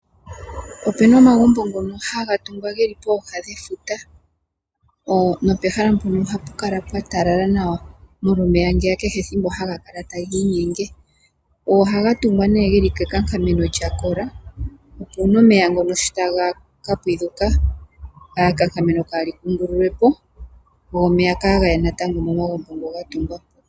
Opena omagumbo ngono haga tingwa geli pooha dhefuta. Nopehala mpono ohapu kala pwa talala nawa molwa omeya ngeya kehe ethimbo haga kala tagi inyenge. Ohaga tungwa nee geli ke kankameno lyakola opo una omeya ngeya sho taga ka kunguluka kaaga kungululwepo go omeya kaagaye natangomomagumbo ngoga tungwa po.